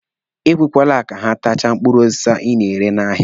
Ekwekwele ka ha tachaa mkpụrụ osisi ị na-ere n'ahịa.